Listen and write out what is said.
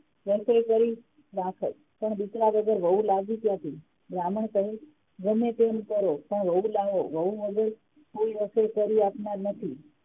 રસોઇ કરી રાખોત પણ દીકરા વગર વહુ લાવી ક્યાથી બ્રાહ્મણ કહે ગમેતેમ કરો પણ વહુ લાવો વહુ વગર કોઈ રસોઇ કરી આપનાર નથી